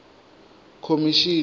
khomishini